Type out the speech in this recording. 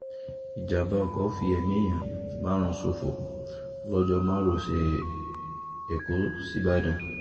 ìjàḿbà ọkọ̀ fi ẹ̀mí èèyàn márùn-ún ṣòfò lọ́jọ́ márosẹ̀ ẹ̀kọ́ sìbàdàn